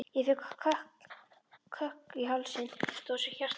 Ég fékk kökk í hálsinn, þetta var svo hjartnæmt.